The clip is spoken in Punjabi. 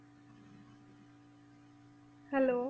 Hello